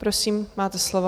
Prosím, máte slovo.